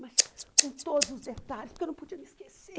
Mas com todos os detalhes, porque eu não podia me esquecer.